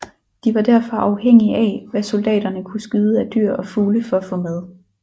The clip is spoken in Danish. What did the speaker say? De var derfor afhængige af hvad soldaterne kunne skyde af dyr og fugle for at få mad